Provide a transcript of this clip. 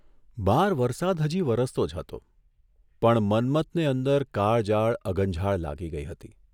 બહાર વરસાદ હજી વરસતો જ હતો પણ મન્મથને અંદર કાળજાળ અગનઝાળ લાગી ગઇ હતી.